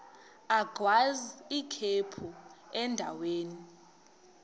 agwaz ikhephu endaweni